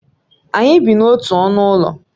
Anyị bi n'otu ọnụ ụlọ